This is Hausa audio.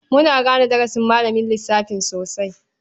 Muna gane darasin malamin lissafin sosai.